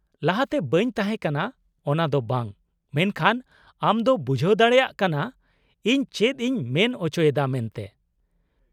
-ᱞᱟᱦᱟᱛᱮ ᱵᱟᱹᱧ ᱛᱟᱦᱮᱸᱠᱟᱱᱟ ᱚᱱᱟ ᱫᱚ ᱵᱟᱝ, ᱢᱮᱱᱠᱷᱟᱱ ᱟᱢ ᱫᱚᱢ ᱵᱩᱡᱷᱟᱹᱣ ᱫᱟᱲᱮᱭᱟᱜ ᱠᱟᱱᱟ ᱤᱧ ᱪᱮᱫ ᱤᱧ ᱢᱮᱱ ᱚᱪᱚᱭᱮᱫᱟ ᱢᱮᱱᱛᱮ ᱾